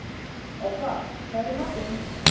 Obba, hvað er í matinn?